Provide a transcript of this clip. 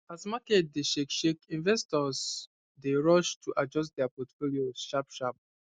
as market dey shake shake investors dey rush to adjust dia portfolios sharpsharp